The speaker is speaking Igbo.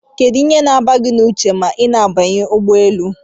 Kedu ihe na agba gi na uche ma ina abanye ụgbọelu?